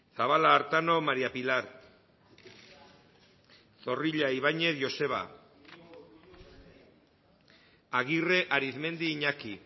zabala artano maría pilar zorrilla ibañez joseba agirre arizmendi iñaki